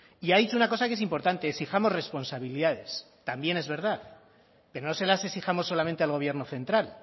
y ha dicho una cosa que es importante exijamos responsabilidades también es verdad pero no se las exijamos solamente al gobierno central